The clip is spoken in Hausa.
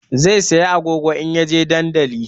Zai saya agogo in ya je dandali